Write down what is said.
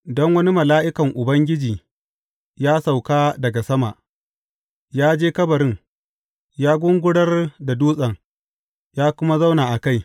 Don wani mala’ikan Ubangiji ya sauka daga sama, ya je kabarin, ya gungurar da dutsen, ya kuma zauna a kai.